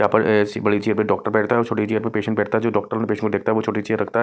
यहा पर ऐसी बड़ी चेयर पे डॉक्टर बैठता है और छोटी चेयर पे पेशेंट बैठता है जो डॉक्टर पेशेंट को देखता है वो छोटी चेयर रखता है।